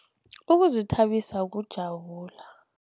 Ukuzithabisa kujabula.